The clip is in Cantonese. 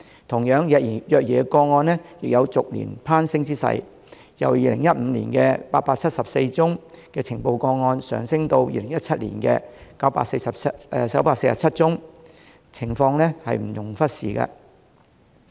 同樣，虐兒個案亦有逐年攀升之勢，由2015年的874宗呈報個案，上升至2017年的947宗，情況不容忽視。